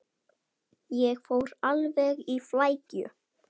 Ég fór alveg í flækju.